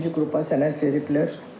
Birinci qrupa sənəd veriblər.